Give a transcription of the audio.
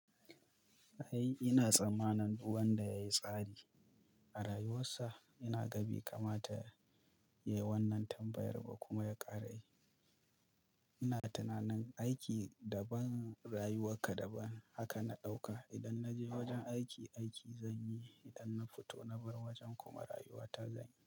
Ai ina tsammanin wanda ya yi tsari a rayuwarsa, inaga bai kama ta yi wannan tambayar ba kuma ya ƙara yi. Ina tunanin aiki daban, rayuwa ka daban haka na ɗauka. Idan na je wajen aiki, aiki zan yi. Idan na fito na bar wajen kuma rayuwa ta zan yi.